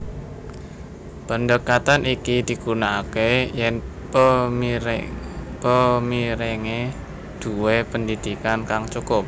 Pendekatan iki digunakake yen pemirenge duwé pendidikan kang cukup